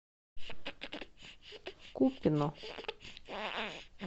купино